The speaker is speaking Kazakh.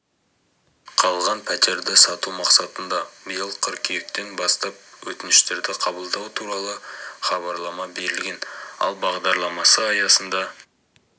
қалған пәтерді сату мақсатында биыл қыркүйектен бастап өтініштерді қабылдау туралы хабарлама берілген ал бағдарламасы аясында